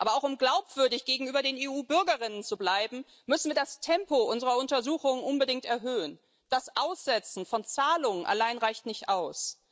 Aber auch um glaubwürdig gegenüber den EU Bürgerinnen und Bürgern zu bleiben, müssen wir das Tempo unserer Untersuchungen unbedingt erhöhen Das Aussetzen von Zahlungen allein reicht nicht aus.